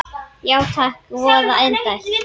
Já takk, voða indælt